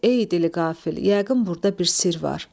"Ey dili qafil, yəqin burda bir sirr var."